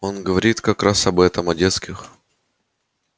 он говорит как раз об этом о детских